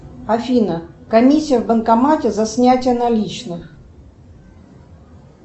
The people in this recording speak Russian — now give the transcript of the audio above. афина комиссия в банкомате за снятие наличных